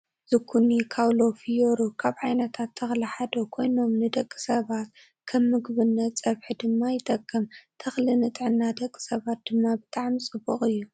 ዚኩኒ ካውሎ ፊዮሩ ካብ ዓይነታት ተክሊ ሓደ ኮይኖም ንደቂ ሰባት ከምምግብነት ፀብሒ ድማ ይጠቅም። ተክሊ ንጥዕና ደቂ ሰባት ድማ ብጣዕሚ ፅቡቅ እዩ።